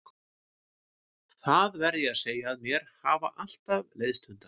Það verð ég að segja að mér hafa alltaf leiðst hundar.